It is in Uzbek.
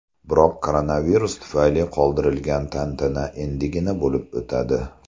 Biroq koronavirus tufayli qoldirilgan tantana endigina bo‘lib o‘tadi.